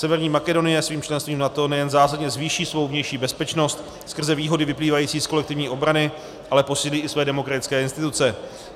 Severní Makedonie svým členstvím v NATO nejen zásadně zvýší svou vnější bezpečnost skrze výhody vyplývající z kolektivní obrany, ale posílí i své demokratické instituce.